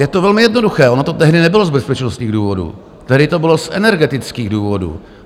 Je to velmi jednoduché, ono to tehdy nebylo z bezpečnostních důvodů, tehdy to bylo z energetických důvodů.